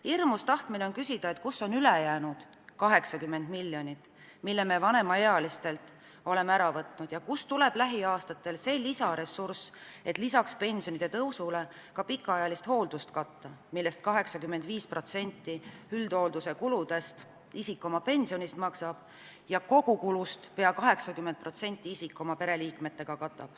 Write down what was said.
Hirmus tahtmine on küsida, et kus on ülejäänud 80 miljonit, mille me vanemaealistelt oleme ära võtnud, ja kust tuleb lähiaastatel see lisaressurss, et lisaks pensionide tõusule katta ka pikaajalise hoolduse kulusid, sest 85% üldhoolduse kuludest maksab isik oma pensionist ja kogukulust peaaegu 80% katab isik koos oma pereliikmetega.